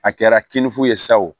A kɛra kinifu ye sa o